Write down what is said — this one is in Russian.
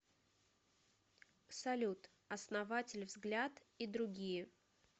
салют основатель взгляд и другие